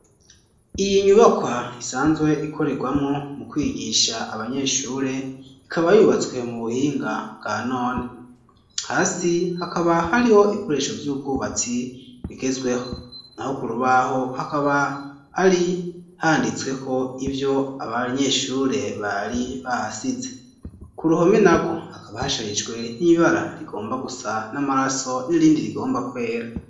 Iyi nyubakwa isanzwe ikorerwamo mu kwigisha abanyeshure ikaba yubatswe mu buhinga bwanone, hasi hakaba hariho ibikoresho vy'ubwubatsi bigezweho, naho kurubaho hakaba hari handitsweko ivyo abanyeshure bari bahasize, ku ruhome naho hakaba hasharijwe n'ibara rigomba gusa n'amaraso n'irindi rigomba kwera.